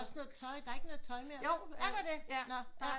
Også sådan noget tøj der er ikke noget tøj mere er der det nå